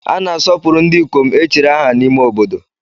A na-asọpụrụ ndị ikom echiri aha n'ime obodo